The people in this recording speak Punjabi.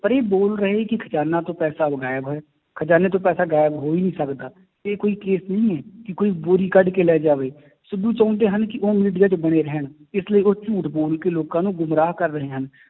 ਪਰ ਇਹ ਬੋਲ ਰਹੇ ਕਿ ਖਜ਼ਾਨਾ ਤੋਂ ਉਹ ਗਾਇਬ ਹੈ, ਖਜ਼ਾਨੇ ਤੋਂ ਪੈਸਾ ਗਾਇਬ ਹੋ ਹੀ ਨੀ ਸਕਦਾ, ਇਹ ਕੋਈ case ਨਹੀਂ ਹੈ, ਕਿ ਕੋਈ ਬੋਰੀ ਕੱਢ ਕੇ ਲੈ ਜਾਵੇ, ਸਿੱਧੂ ਚਾਹੁੰਦੇ ਹਨ ਕਿ ਉਹ media 'ਚ ਬਣੇ ਰਹਿਣ ਇਸ ਲਈ ਉਹ ਝੂਠ ਬੋਲ ਕੇ ਲੋਕਾਂ ਨੂੰ ਗੁੰਮਰਾਹ ਕਰ ਰਹੇ ਹਨ,